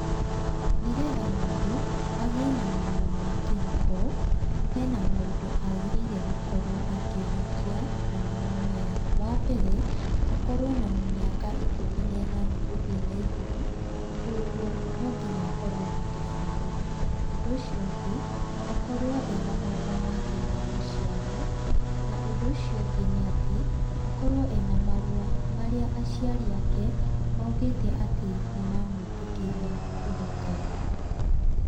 Nĩ getha mũndũ agĩe na marũa ma kĩhiko, hena maũndũ agĩrĩire nĩ gũkorwo akĩhingia na nĩmo maya. Wambere, akorwo na mĩaka ikũmi na ĩnana na gũthiĩ na igũrũ, kũoguo no nginya akorwo na gĩbandĩ. Ũndũ ũcio ũngĩ, akorwo ena marũa make ma gũciarwo na ũndũ ũcio ũngĩ nĩ atĩ, akorwo e na marũa ma aciari ake marĩa maugĩte atĩ nĩ mamwĩtĩkĩria kũhika.